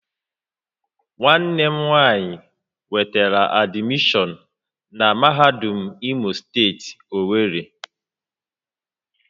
Nwanne m nwanyi nwetara admishọon na mahadum Imo steeti, Owerri